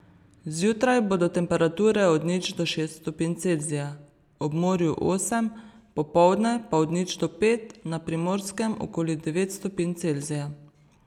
Zjutraj bodo temperature od nič do šest stopinj Celzija, ob morju osem, popoldne pa od nič do pet, na Primorskem okoli devet stopinj Celzija.